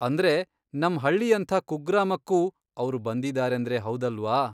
ಅಂದ್ರೆ, ನಮ್ ಹಳ್ಳಿಯಂಥಾ ಕುಗ್ರಾಮಕ್ಕೂ ಅವ್ರು ಬಂದಿದಾರೆಂದ್ರೆ ಹೌದಲ್ವಾ.